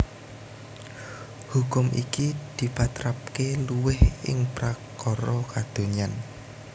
Hukum iki dipatrapaké luwih ing prakara kadonyan